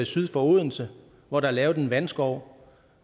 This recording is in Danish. syd for odense hvor der er lavet en vandskov